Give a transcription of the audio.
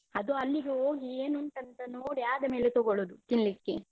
ಅದು ಅಲ್ಲಿಗೆ ಹೋಗಿ ಏನು ಉಂಟಂತ ನೋಡಿ ಆದ ಮೇಲೆ ತೊಗೊಳುದು ತಿನ್ಲಿಕ್ಕೆ.